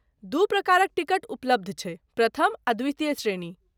दू प्रकारक टिकट उपलब्ध छैक, प्रथम आ द्वितीय श्रेणी।